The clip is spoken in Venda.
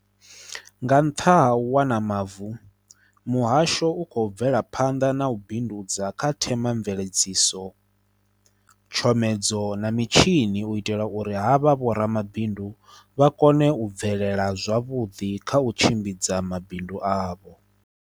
Nga nṱha ha u wana mavu, Muhasho u khou bvela phanḓa na u bi ndudza kha themamveledzi so, tshomedzo na mitshini u itela uri havha vhoramabindu vha kone u bvelela zwavhuḓi kha u tshimbidza mabindu avho.